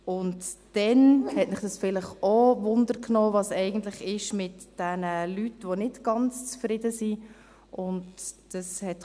Weiter hat es Sie vielleicht auch interessiert, was eigentlich mit den Leuten, die nicht ganz zufrieden sind, geschieht.